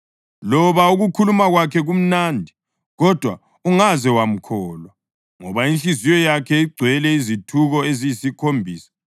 Loba ukukhuluma kwakhe kumnandi, kodwa ungaze wamkholwa, ngoba inhliziyo yakhe igcwele izithuko eziyisikhombisa.